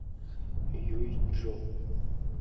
юйчжоу